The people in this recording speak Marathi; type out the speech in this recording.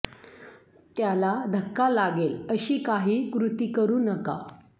त्याला धक्का लागेल अशी काही कृती करू नका